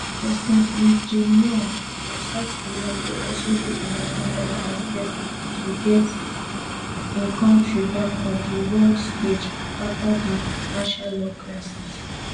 president lee jaemyung of south koreago also dey in at ten dance as guest to get im kontri back on di world stage afta dia martiallaw crisis